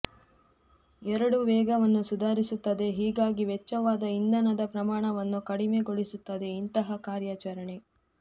ಎರಡೂ ವೇಗವನ್ನು ಸುಧಾರಿಸುತ್ತದೆ ಹೀಗಾಗಿ ವೆಚ್ಚವಾದ ಇಂಧನದ ಪ್ರಮಾಣವನ್ನು ಕಡಿಮೆಗೊಳಿಸುತ್ತದೆ ಇಂತಹ ಕಾರ್ಯಾಚರಣೆ